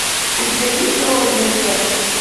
у тебя есть голодные зет